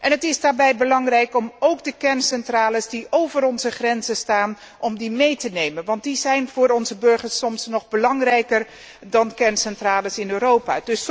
Het is daarbij belangrijk om ook de kerncentrales die over onze grenzen staan mee te nemen, want die zijn voor onze burgers soms nog belangrijker dan kerncentrales in Europa.